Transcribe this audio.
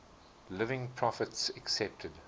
living prophets accepted